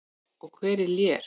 Og hver er Lér?